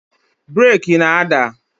Breeki na-ada